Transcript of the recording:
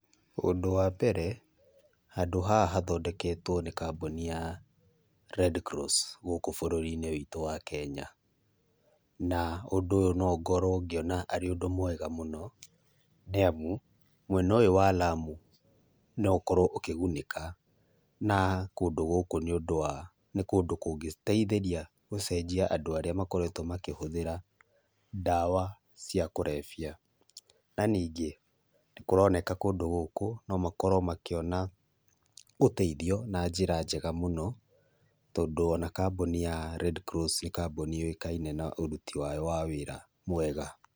Ũndũ wa mbere, handũ haha hathondeketwo nĩ kambuni ya Redcross gũkũ bũrũri-inĩ ũyũ witũ wa Kenya. Na ũndũ ũyũ no ngorwo ngĩona arĩ ũndũ mwega mũno, nĩamu mwena ũyũ wa Lamu no ũkorwo ũkĩgunĩka na kũndũ gũkũ, nĩũndũ wa nĩ kũndũ kũngĩteithĩria gũcenjia andũ arĩa makoretwo makĩhũthĩra ndawa cia kũrebia. Na ningĩ nĩkũroneka kũndũ gũkũ no makorwo makĩona ũteithio na njĩra njega mũno, tondũ ona kambuoni ya Redcross nĩ kambuni yũĩkaine na ũruti wao wa wĩra mwega.